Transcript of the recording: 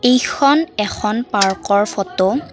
এইখন এখন পাৰ্কৰ ফটো ।